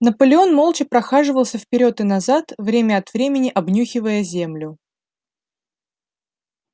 наполеон молча прохаживался вперёд и назад время от времени обнюхивая землю